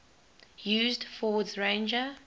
used ford's ranger